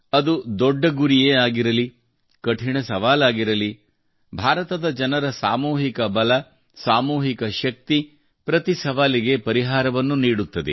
ಅದು ದೊಡ್ಡ ಗುರಿಯೇ ಆಗಿರಲಿ ಕಠಿಣ ಸವಾಲಾಗಿರಲಿ ಭಾರತದ ಜನರ ಸಾಮೂಹಿಕ ಬಲ ಸಾಮೂಹಿಕ ಶಕ್ತಿ ಪ್ರತಿ ಸವಾಲಿಗೆ ಪರಿಹಾರವನ್ನು ನೀಡುತ್ತದೆ